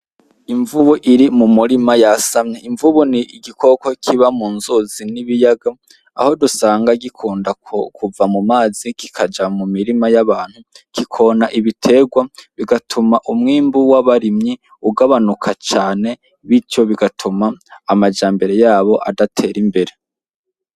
Umvubu iri mu murima yasamye ;imvubu ni igikoko kiba mu nzuzi, n'ibiyaga aho dusanga gikunda kuva mu mazi kikaja mu mirima y'abantu kikonona ibiterwa, bigatuma umwimbu w'abarimyi ugabanuka cane bityo bigatuma amajambere yabo adatera imbere.